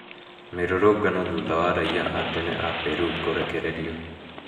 Mĩrũrũngano thutha wa raia a tene a Peru kũrekererio